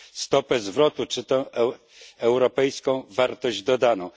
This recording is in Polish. stopę zwrotu czy europejską wartość dodaną.